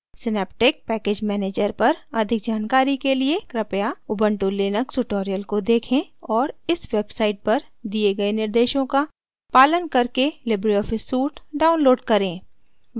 synaptic package manager पर अधिक जानकारी के लिए कृपया उबंटू लिनक्स tutorials को देखें और इस वेबसाइट पर दिए गए निर्देशों का पालन करके लिबरे ऑफिस सूट डाउनलोड करें